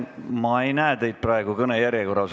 Ma ei näe teid praegu kõne järjekorras.